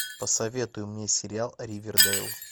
посоветуй мне сериал ривердэйл